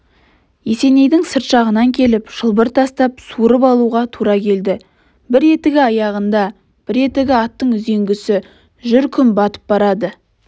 есенейді сырт жағынан келіп шылбыр тастап суырып алуға тура келді бір етігі аяғында бір етігі аттың үзеңгісі жүр күн батып барады